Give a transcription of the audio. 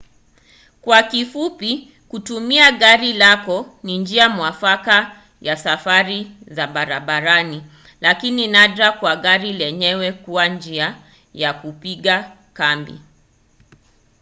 kwa kifupi kutumia gari lako ni njia mwafaka ya safari za barabarani lakini nadra kwa gari lenyewe kuwa njia ya kupiga kambi